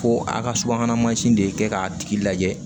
Ko a ka subahana mansin de ye kɛ k'a tigi lajɛ